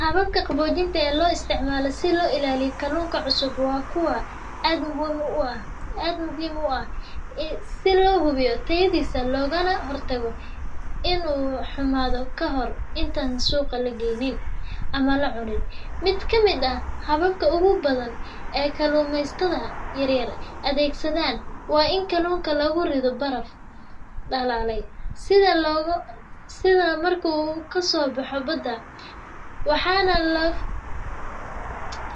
Hababka qaboojinta ee loo isticmaalo si loo ilaaliyo kalluunka cusub waa kuwo aad muhiim u ah si loo hubiyo tayadiisa, loogana hortago in uu xumaado kahor inta aan la suuq geeyn ama la cunin. Mid ka mid ah hababka ugu badan ee kalluumaysatada yaryar adeegsadaan waa in kalluunka lagu rido baraf dhalaalay isla marka uu kasoo baxo badda,